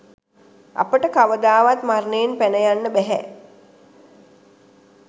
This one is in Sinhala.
අපට කවදාවත් මරණයෙන් පැන යන්න බැහැ